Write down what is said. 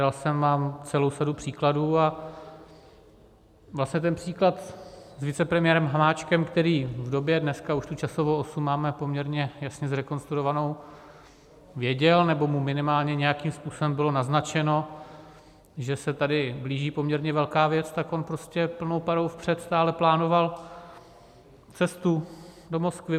Dal jsem vám celou sadu příkladů a vlastně ten příklad s vicepremiérem Hamáčkem, který v době, dneska už tu časovou osu máme poměrně jasně zrekonstruovanou, věděl, nebo mu minimálně nějakým způsobem bylo naznačeno, že se tady blíží poměrně velká věc, tak on prostě plnou parou vpřed stále plánoval cestu do Moskvy.